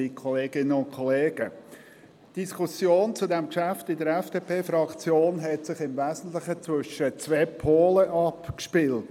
Die Diskussion dieses Geschäfts in der FDP-Fraktion spielte sich im Wesentlich zwischen zwei Polen ab.